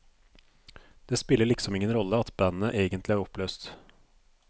Det spiller liksom ingen rolle at bandet egentlig er oppløst.